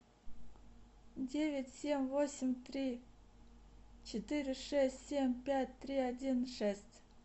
девять семь восемь три четыре шесть семь пять три один шесть